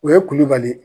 O ye kulubali ye